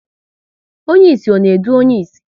Onye ịsị ọ na edu onye ịsị?